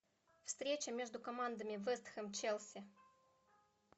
встреча между командами вест хэм челси